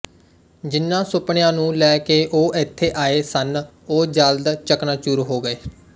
ਜਿਹਨਾਂ ਸੁਪਨਿਆਂ ਨੂੰ ਲੈ ਕੇ ਉਹ ਇੱਥੇ ਆਏ ਸਨ ਉਹ ਜਲਦ ਚਕਨਾਚੂਰ ਹੋ ਗਏ